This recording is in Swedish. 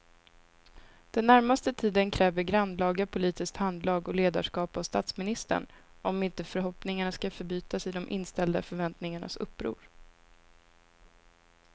Den närmaste tiden kräver grannlaga politiskt handlag och ledarskap av statsministern om inte förhoppningarna ska förbytas i de inställda förväntningarnas uppror.